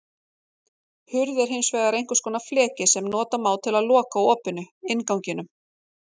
Hurð er hins vegar einhvers konar fleki sem nota má til að loka opinu, innganginum.